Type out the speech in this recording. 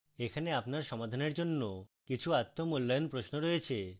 এখানে আপনার সমাধানের জন্য কিছু আত্ম মূল্যায়ন প্রশ্ন রয়েছে